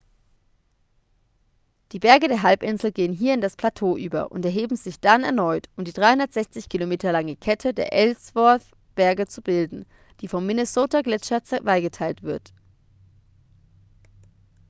die berge der halbinsel gehen hier in das plateau über und erheben sich dann erneut um die 360 km lange kette der ellsworth-berge zu bilden die vom minnesota-gletscher zweigeteilt wird